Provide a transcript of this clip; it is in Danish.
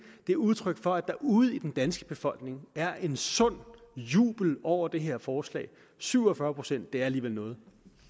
men udtryk for at der ude i den danske befolkning er en sund jubel over det her forslag syv og fyrre procent er alligevel noget